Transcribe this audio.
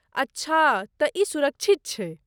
अच्छा तँ ई सुरक्षित छै।